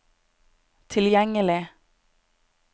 tilgjengelig